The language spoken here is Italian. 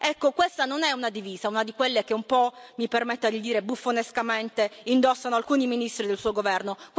Ecco, questa non è una divisa, una di quelle che un po', mi permetta di dire, buffonescamente indossano alcuni ministri del suo Governo.